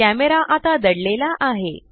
camera आता दडलेला आहे